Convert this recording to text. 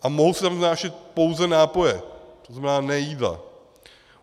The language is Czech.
A mohou se tam vnášet pouze nápoje, to znamená ne jídla.